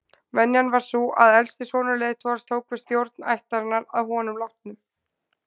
Venjan var sú að elsti sonur leiðtogans tók við stjórn ættarinnar að honum látnum.